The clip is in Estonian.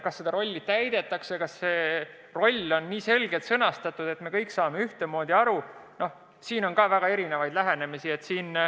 Kas seda rolli täidetakse korralikult, kas see roll on nii selgelt sõnastatud, et me kõik saame ühtemoodi aru – no siin on ka väga erinevaid lähenemisi.